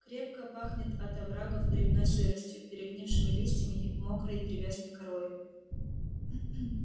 крепко пахнет от оврагов грибной сыростью перегнившими листьями и мокрой древесной корою